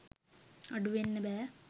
අඩුවෙන්න බෑ.